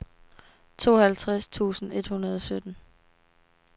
tooghalvtreds tusind et hundrede og sytten